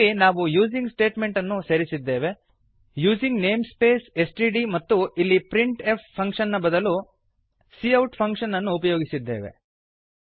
ಇಲ್ಲಿ ನಾವು using statement ಅನ್ನು ಸೇರಿಸಿದ್ದೇವೆ using namespace S T D ಮತ್ತು ಇಲ್ಲಿ ಪ್ರಿಂಟ್ ಎಫ್ ಫಂಕ್ಷನ್ ನ ಬದಲು ಸಿಔಟ್ ಫಂಕ್ಷನ್ ಅನ್ನು ಉಪಯೋಗಿಸಿದ್ದೇವೆ